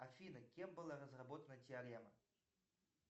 афина кем была разработана теорема